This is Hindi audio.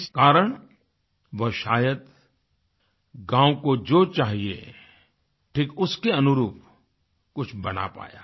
इस कारण वह शायद गाँव को जो चाहिए ठीक उसके अनुरूप कुछ बना पाया